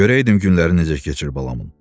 Görəydim günləri necə keçir balamın.